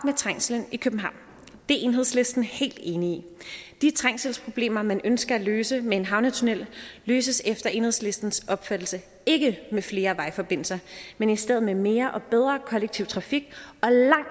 trængslen i københavn det er enhedslisten helt enige i de trængselsproblemer man ønsker at løse med en havnetunnel løses efter enhedslistens opfattelse ikke med flere vejforbindelser men i stedet med mere og bedre kollektiv trafik